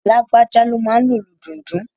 Lágbájá ló máa n lo ìlù dundun